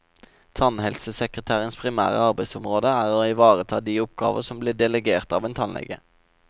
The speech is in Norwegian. Tannhelsesekretærens primære arbeidsområdet er å ivareta de oppgaver som blir delegert av en tannlege.